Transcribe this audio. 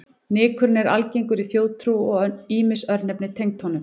Nykurinn er algengur í þjóðtrú og ýmis örnefni tengd honum.